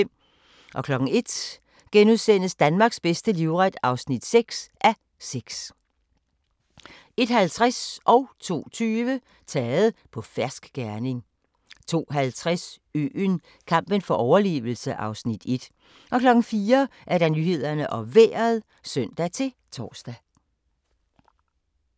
01:00: Danmarks bedste livret (6:6)* 01:50: Taget på fersk gerning 02:20: Taget på fersk gerning 02:50: Øen – kampen for overlevelse (Afs. 1) 04:00: Nyhederne og Vejret (søn-tor)